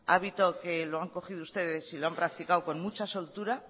hábito que lo han cogido ustedes y lo han practicado con mucha soltura